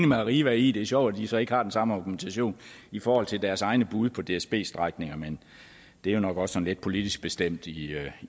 med arriva i det er sjovt at de så ikke har den samme organisation i forhold til deres egne bud på dsbs strækninger men det er jo nok også sådan lidt politisk bestemt i